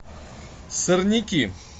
сорняки